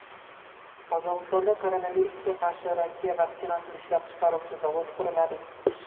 Qozog‘istonda koronavirusga qarshi Rossiya vaksinasini ishlab chiqaruvchi zavod quriladi.